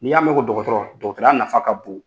Ni y'a mɛn ko dɔgɔtɔrɔ, dɔgɔtɔrɔya nafa ka bon.